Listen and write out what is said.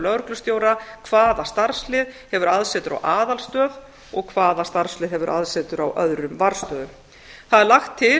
lögreglustjóra hvaða starfslið hefur aðsetur á aðalstöð og hvaða starfslið hefur aðsetur á öðrum varðstöðvum það er lagt til